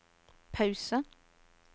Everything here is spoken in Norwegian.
pause